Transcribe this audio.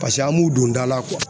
an m'u don da la